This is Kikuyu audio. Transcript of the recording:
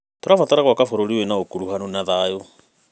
Tũrabatara gwaka bũrũri wĩna ũkuruhanu na thayũ.